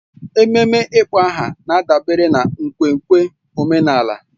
Ememe ịkpọ aha na-adabere na nkwenkwe omenala